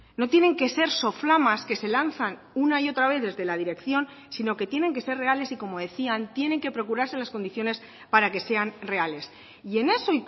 no tienen que ser soflamas que se lanzan una y otra vez desde la dirección sino que tienen que ser reales y como decían tienen que procurarse las condiciones para que sean reales y en eso